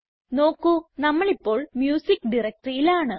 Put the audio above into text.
നോക്കു നമ്മളിപ്പോൾ മ്യൂസിക്ക് directoryയിലാണ്